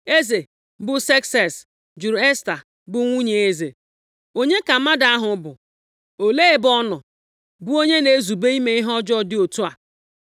Eze, bụ Sekses, jụrụ Esta, bụ nwunye eze, “Onye ka mmadụ ahụ bụ, olee ebe ọ nọ, bụ onye na-ezube ime ihe ọjọọ dị otu a?”